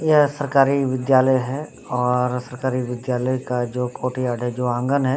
यह सरकारी विद्यालय है और सरकारी विद्यालय का जो आगन है।